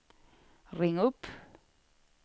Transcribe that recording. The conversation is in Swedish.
ring upp